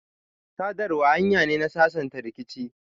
sadarwa hanya ne na sasanta rikici.